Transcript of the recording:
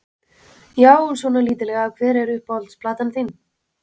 Já, svona lítillega Hver er uppáhalds platan þín?